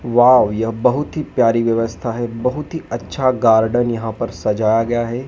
Wow यह बहुत ही प्यारी व्यवस्था है बहुत ही अच्छा गार्डन यहां पर सजाया गया है।